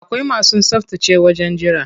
Akwai masu tsaftace wajen jira.